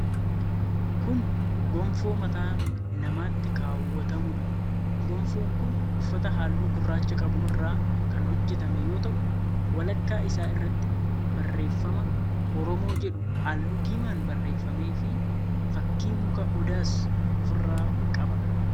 Kun gonfoo mataa namaatti kaawwatamuu dha. Gonfoon kun uffata halluu gurraacha qabu irraa kan hojjatame yoo ta'u, walakkaa isaa irratti barreeffama Oromoo jedhuu haalluu diimaan barreeffame fi fakkii muka odaas of irraa qaba.